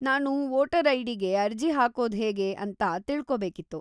ನಾನು ವೋಟರ್‌ ಐ.ಡಿ.ಗೆ ಅರ್ಜಿ ಹಾಕೋದ್ಹೇಗೆ ಅಂತ ತಿಳ್ಕೋಬೇಕಿತ್ತು.